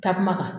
Takuma